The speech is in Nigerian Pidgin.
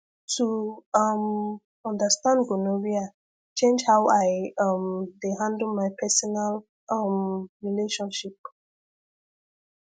to um understand gonorrhea change how i um dey handle my personal um relationship